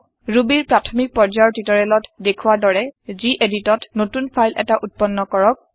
Rubyৰ প্ৰাথমিক পৰ্যায়ৰ টিওটৰিয়েলত দেখুৱা দৰে geditত নতুন ফাইল এটা উত্পন্ন কৰক